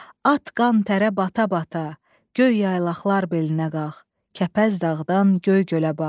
At qan tərə bata-bata, göy yaylaqlar belinə qalx, Kəpəz dağdan göy gölə bax.